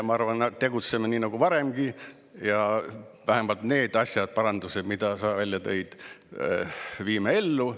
Ma arvan, me tegutseme nii nagu varemgi ja vähemalt need parandused, mis sa välja tõid, viime ellu.